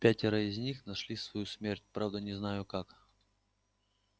пятеро из них нашли свою смерть правда не знаю как